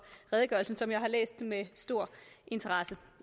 redegørelsen som jeg har læst med stor interesse